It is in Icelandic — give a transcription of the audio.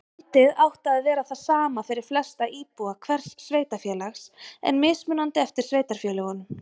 Gjaldið átti að vera það sama fyrir flesta íbúa hvers sveitarfélags en mismunandi eftir sveitarfélögum.